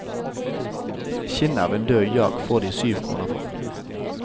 Skinnet av en død jak får de syv kroner for.